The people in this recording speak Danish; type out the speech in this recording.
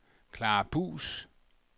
Clara Buus